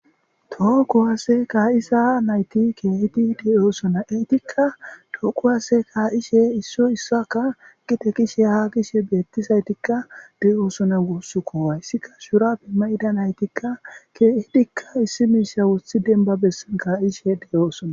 Tookowase kaa'isa nayti keehidi deyoosona eytikka tookowasse ka'ishe issoy issaka gite kishe haa gishe beettisaytikka de'oosona guuss ko wayssika shurape ma'ida naytikka keehidikka issi miisha wothi denbabea kaa'ishe deyoosona.